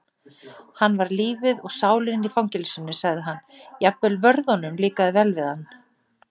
Hann var lífið og sálin í fangelsinu sagði hann, jafnvel vörðunum líkaði vel við hann